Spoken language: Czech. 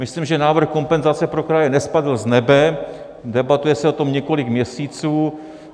Myslím, že návrh kompenzace pro kraje nespadl z nebe, debatuje se o tom několik měsíců.